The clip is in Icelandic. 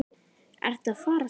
Ertu að fara? spurði Nína.